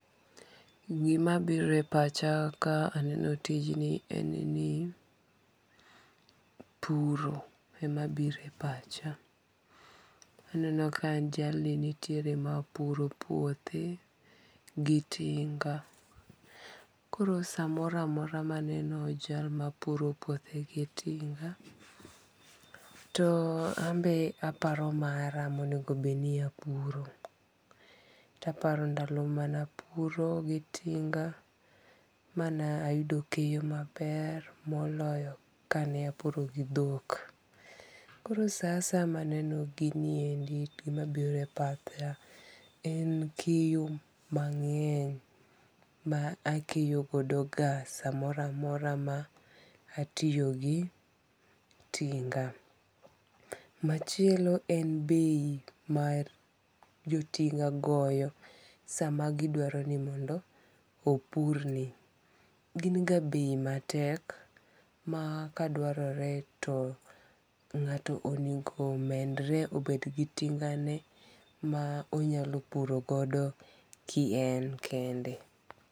Gima biro e pacha ka aneno tijni en ni puro ema biro e pacha. Aneno ka jalni nitiere ma puro puothe, gi tinga. Koro samora amora maneno jal mapuro puothe gi tinga, too ambe aparo mara monego bedni apuro. Taparo ndalo manapuro gi tinga, mana ayudo keyo maber moloyo kane apuro gi dhok. Koro saa asaa maneno gini endi gima biro e pacha en keyo mang'eny ma akeyo godo ga samora amora ma atiyo gi tinga. Machielo en bei mar jotinga goyo sama gidwaro ni mondo opurni. Gin ga bei matek ma kadwarore to ng'ato onego omenre obed go tinga ne ma onyalo puro godo ki en kende